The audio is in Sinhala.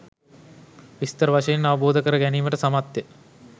විස්තර වශයෙන් අවබෝධ කර ගැනීමට සමත්ය.